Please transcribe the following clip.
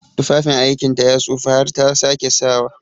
Tufafin aikinta ya tsufa kar ta sake sawa!